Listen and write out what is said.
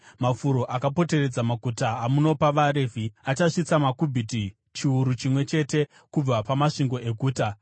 “Mafuro akapoteredza maguta amunopa vaRevhi achasvitsa makubhiti chiuru chimwe chete kubva pamasvingo eguta.